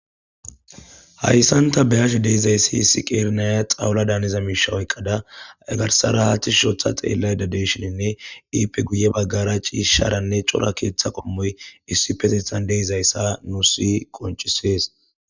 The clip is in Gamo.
hayssanta beyash deizayssi hissi qeernaya xawula daaniza miisha oykkada egarsara haathis hushotha xeellay dadeshininne iipe guye baggara ciisharanne cora keeththa qommoy issi petethan deizayssa nu si qonchisees